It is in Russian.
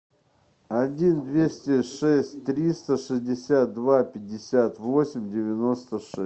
один двести шесть триста шестьдесят два пятьдесят восемь девяносто шесть